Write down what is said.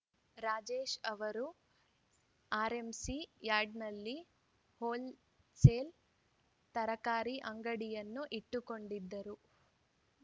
ರಾಜೇಶ್‌ ಅವರು ಆರ್‌ಎಂಸಿ ಯಾರ್ಡ್‌ನಲ್ಲಿ ಹೋಲ್‌ಸೆಲ್‌ ತರಕಾರಿ ಅಂಗಡಿಯನ್ನು ಇಟ್ಟುಕೊಂಡಿದ್ದರು